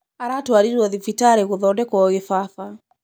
Aratwarirwo thibitarĩ kũthondekwo kibaba.